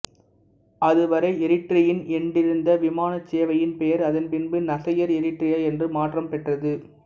அதுவரை எரிட்ரியன் என்றிருந்த விமானச் சேவையின் பெயர் அதன் பின்பு நசையர் எரிட்ரியா என்று மாற்றம் பெற்றது